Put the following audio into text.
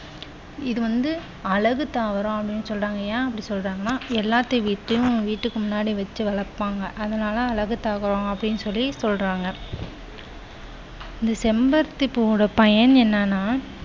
இது வந்து அழகு தாவரம் அப்படின்னு சொல்றாங்க. ஏன் அப்படி சொல்றாங்கன்னா எல்லாத்து வீட்லயும் வீட்டுக்கு முன்னாடி வச்ச வளப்பாங்க அதனால அழகு தாவரம் அப்படின்னு சொல்லி சொல்றாங்க. இந்த செம்பருத்தி பூவுடைய பயன் என்னன்னா,